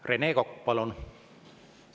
Rene Kokk, palun!